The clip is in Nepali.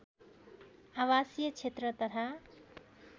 आवासीय क्षेत्र तथा